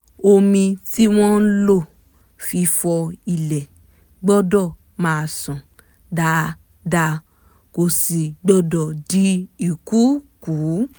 omi tí wọ́n lò fún fífọ ilẹ̀ gbọ́dọ̀ máa ṣàn dáadáa kò sì gbọ́dọ̀ di ìkùukùu